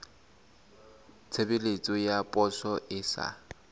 tshebeletso ya poso e sa